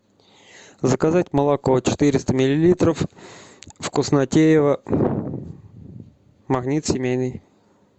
заказать молоко четыреста миллилитров вкуснотеево магнит семейный